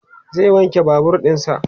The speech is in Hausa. zai wanke Babur ɗinsa